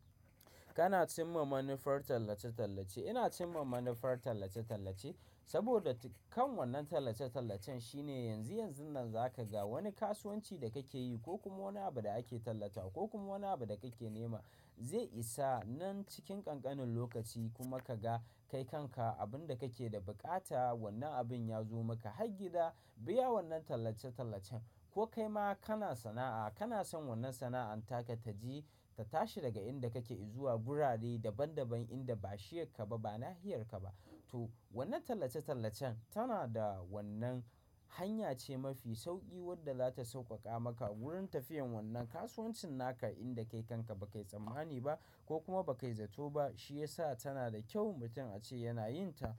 Kana cimma manufar tallace-tallace. Ina cimma manufar tallace-tallace saboda kan wannan tallace-tallacen shine yanzu, yanzun nan za ka ga wani kasuwanci da kake yi ko kuma wani abu da ake tallata ko kuma wani abu da kake nema zai isa nan cikin ƙanƙanin lokaci kuma ka ga kai kanka abun da kake da buƙata wannan abin ya zo maka. Har gida biya wannan tallace-tallacen ko kai ma kana sana'a, kana son wannan sana'an taka taji ta tashi daga inda kake zuwa birane daban-daban inda ba shi yakka ba, ba nahiyar ka ba. To wannan tallace-tallacen tana da wannan hanya ce mafi sauƙi wadda za ta sauƙaƙa maka wurin tafiyan wannan kasuwancin naka inda kai kanka ba kai tsammani ba ko kuma ba kai zato ba. Shi ya sa tana da kyau mutum ace yana yin ta.